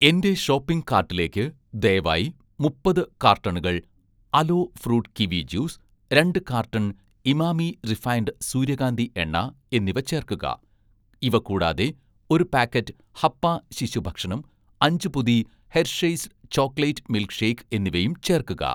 എന്‍റെ ഷോപ്പിംഗ് കാർട്ടിലേക്ക് ദയവായി മുപ്പത് കാർട്ടണുകൾ 'അലോ ഫ്രൂട്ട്' കിവി ജ്യൂസ്, രണ്ട് കാർട്ടൺ 'ഇമാമി' റിഫൈൻഡ് സൂര്യകാന്തി എണ്ണ എന്നിവ ചേർക്കുക. ഇവ കൂടാതെ, ഒരു പാക്കറ്റ് 'ഹപ്പ' ശിശു ഭക്ഷണം, അഞ്ച് പൊതി 'ഹെർഷെയ്സ്' ചോക്ലേറ്റ് മിൽക്ക് ഷേക്ക് എന്നിവയും ചേർക്കുക.